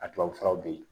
A tubabu furaw be yen